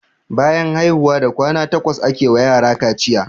Bayan haihuwa da kwana takwas ake wa yara kaciya.